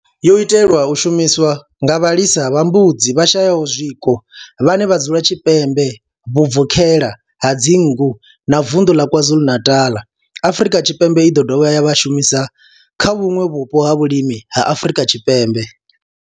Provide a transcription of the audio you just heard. Yo itelwa u shumiswa nga vhalisa vha mbudzi vhashayaho zwiko vhane vha dzula tshipembe vhubvokhela ha dzingu na vunḓu la KwaZulu-Natal, Afrika Tshipembe i ḓo dovha ya shumiswa kha vhuṋwe vhupo ha vhulimi ha Afrika Tshipembe.